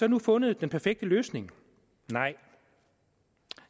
nu fundet den perfekte løsning nej